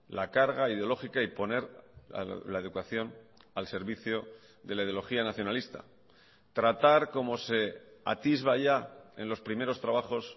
la carga ideológica y poner la educación al servicio de la ideología nacionalista tratar como se atisba ya en los primeros trabajos